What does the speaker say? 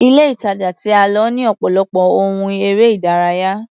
Ile-ìtàjà tí a lọ ní ọ̀pọ̀lọpọ̀ ohun eré-ìdárayá.